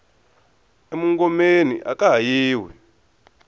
e mungomeni aka ha yiwi